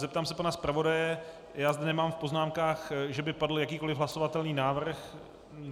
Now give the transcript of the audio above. Zeptám se pana zpravodaje - já zde nemám v poznámkách, že by padl jakýkoliv hlasovatelný návrh.